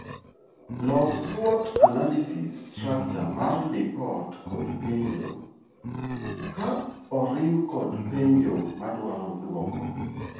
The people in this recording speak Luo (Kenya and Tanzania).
Los SWOT analysis structure mar lipot kod penjo ;ka oriw kod penjo madwaro dwoko.